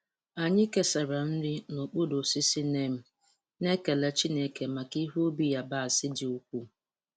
Anyị kesara nri n'okpuru osisi neem, na-ekele Chineke maka ihe ubi yabasị dị ukwuu.